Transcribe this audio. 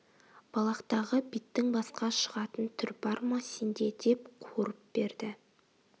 балақтағы биттің басқа шығатын түр бар бе сен де деп қуырып берді